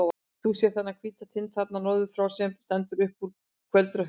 Þú sérð þennan hvíta tind þarna norður frá, sem stendur upp úr kvöldrökkrinu.